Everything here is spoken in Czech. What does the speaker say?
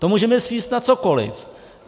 To můžeme svést na cokoliv.